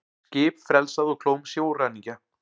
Skip frelsað úr klóm sjóræningja